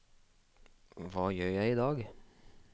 hva gjør jeg idag